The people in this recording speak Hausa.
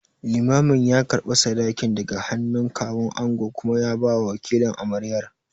Limamin ya karɓi sadakin daga hannun Kawun angon kuma ya bawa wakilin amaryar.